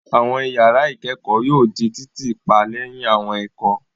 Àwọn ìyàrá ìkẹ́kọ̀ọ́ yóò di títì pa lẹ́yìn àwọn ẹ̀kọ́.